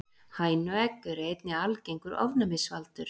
hænuegg eru einnig algengur ofnæmisvaldur